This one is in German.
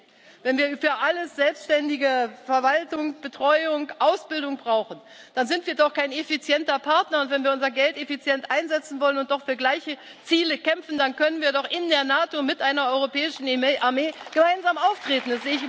60. Wenn wir für alles selbstständige Verwaltung, Betreuung und Ausbildung brauchen, dann sind wir doch kein effizienter Partner, und wenn wir unser Geld effizient einsetzen wollen und doch für gleiche Ziele kämpfen, dann können wir doch in der NATO mit einer europäischen Armee gemeinsam auftreten.